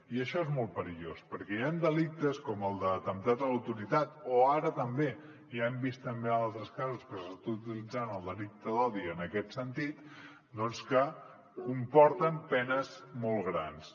i això és molt perillós perquè hi han delictes com el d’atemptat a l’autoritat o ara també ja hem vist altres casos en que s’està utilitzant el delicte d’odi en aquest sentit doncs que comporten penes molt grans